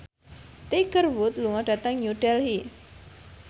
Tiger Wood lunga dhateng New Delhi